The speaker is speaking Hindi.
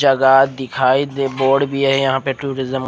जगह दिखाई दे बोर्ड भी है यह टूरिस्म --